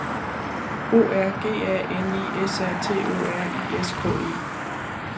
O R G A N I S A T O R I S K E